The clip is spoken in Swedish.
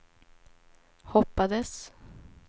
hoppades